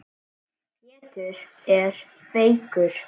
Pétur er veikur.